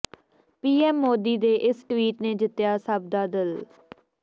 PM Modi ਦੇ ਇਸ tweet ਨੇ ਜਿੱਤਿਆ ਸਭ ਦਾ ਦਿਲ